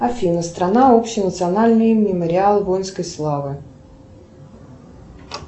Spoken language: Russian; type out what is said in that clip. афина страна общенациональный мемориал воинской славы